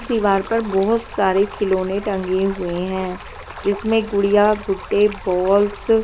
दीवार पर बहुत सारे खिलौने टंगे हुए है जिसमे गुड़िया गुड्डे बॉल्स --